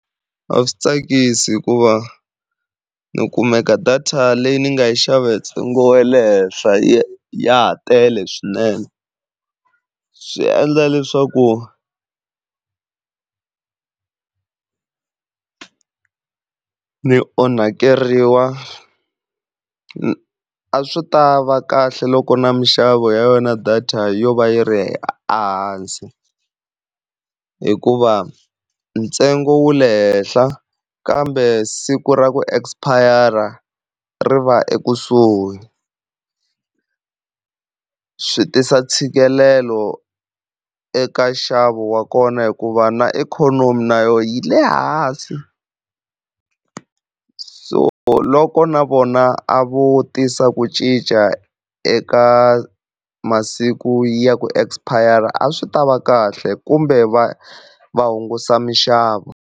A swi tsakisi hikuva ni kumeka data leyi ni nga yi xava hi ntsengo wa le henhla ya ha tele swinene, swi endla leswaku ni onhakeriwa a swi ta va kahle loko na minxavo ya yona data yo va yi ri hansi, hikuva ntsengo wu le henhla kambe siku ra ku expire ri va ekusuhi. Swi tisa ntshikelelo eka nxavo wa kona hikuva na ikhonomi na yona yi le hansi, so loko na vona a vo tisa ku cinca eka masiku ya ku expire a swi ta va kahle kumbe va va hungusa mixavo.